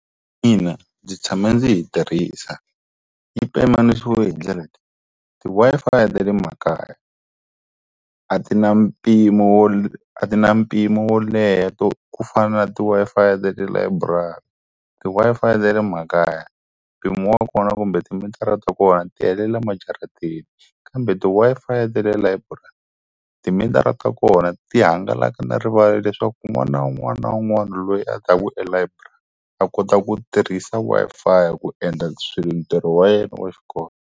Ina, ndzi tshame ndzi yi tirhisa. Yi pimanisiwe hi ndlela leyi, ti-Wi-Fi ta le makaya a ti na mpimo wo a ti na mpimo wo leha ku fana na ti-Wi-Fi ta le library. ti-Wi-Fi ta le makaya, mpimo wa kona kumbe timitara ta kona ti helela majarateni kambe ti-Wi-Fi ta le library, timitara ta kona ti hangalaka na rivala leswaku wun'wana na wun'wana na wun'wana loyi a ta ku elibrary a kota ku tirhisa Wi-Fi ku endla ntirho wa yena wa xikolo.